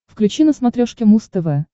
включи на смотрешке муз тв